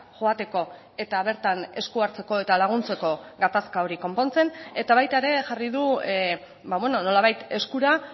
joateko eta bertan esku hartzeko eta laguntzeko gatazka hori konpontzen eta baita ere jarri du nolabait eskura